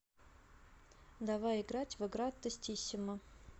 давай играть в игра тестиссимо